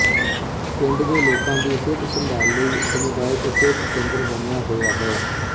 ਪਿੰਡ ਦੇ ਲੋਕਾਂ ਦੀ ਸਿਹਤ ਸੰਭਾਲ਼ ਲਈ ਸਮੁਦਾਇਕ ਸਿਹਤ ਕੇਂਦਰ ਬਣਿਆ ਹੋਇਆ ਹੈ